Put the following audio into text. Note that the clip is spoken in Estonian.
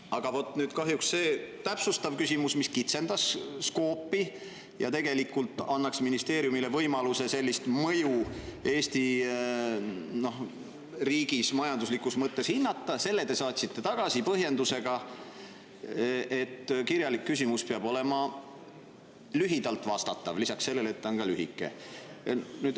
Aga kahjuks selle täpsustava küsimuse, mis kitsendas skoopi ja tegelikult andis ministeeriumile võimaluse sellist mõju Eesti riigis majanduslikus mõttes hinnata, te saatsite tagasi põhjendusega, et kirjalik küsimus peab olema lühidalt vastatav, lisaks sellele, et ta on ka ise lühike.